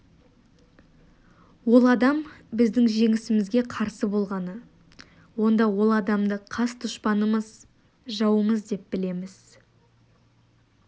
ол адам біздің жеңісімізге қарсы болғаны онда ол адамды қас дұшпанымыз жауымыз деп білеміз